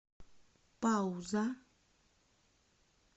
пауза